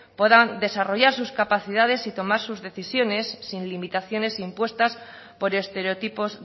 puedan desarrollar sus capacidades y tomar sus decisiones sin limitaciones impuestas por estereotipos